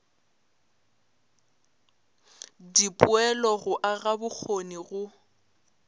dipoelo go aga bokgoni go